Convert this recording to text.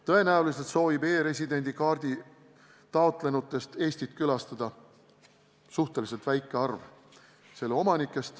Tõenäoliselt soovib e-residendi kaardi taotlenutest Eestit külastada suhteliselt väike arv.